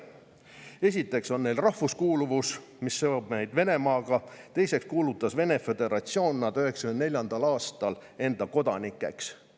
Esiteks on neil rahvuskuuluvus, mis seob neid Venemaaga, teiseks kuulutas Vene föderatsioon nad 1994. aastal enda kodanikeks.